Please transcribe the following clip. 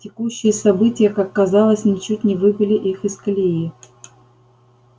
текущие события как казалось ничуть не выбили их из колеи